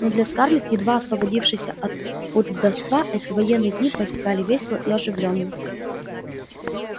но для скарлетт едва освободившейся от пут вдовства эти военные дни протекали весело и оживлённо